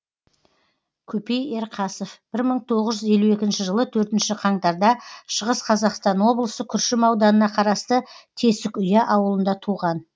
көпей ерқасов бір мың тоғыз жүз елу екінші жылы төртінші қаңтар да шығыс қазақстан облысы күршім ауданына қарасты тесікүя ауылында туған